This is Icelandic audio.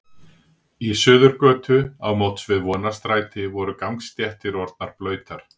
Í Suðurgötu á móts við Vonarstræti voru gangstéttir orðnar blautar.